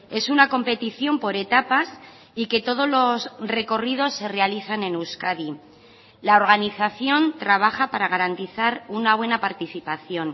es una competición por etapas y que todos los recorridos se realizan en euskadi la organización trabaja para garantizar una buena participación